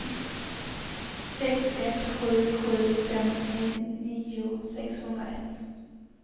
sex ett sju sju femtionio sexhundraett